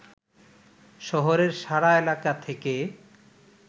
শহরের সাড়া এলাকা থেকে